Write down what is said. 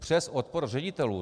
Přes odpor ředitelů.